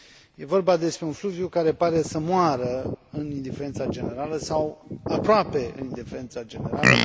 E vorba despre un fluviu care pare să moară în indiferența generală, sau aproape în indiferența generală.